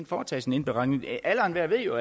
foretages en indberetning alle og enhver ved jo